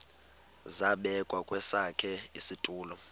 zabekwa kwesakhe isitulo